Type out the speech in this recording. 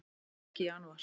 Hann fer ekki í janúar.